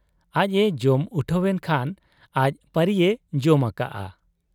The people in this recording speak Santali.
ᱟᱡ ᱮ ᱡᱚᱢ ᱩᱴᱷᱟᱹᱣᱮᱱ ᱠᱷᱟᱱ ᱟᱡ ᱯᱟᱹᱨᱤᱭᱮ ᱡᱚᱢ ᱟᱠᱟᱜ ᱟ ᱾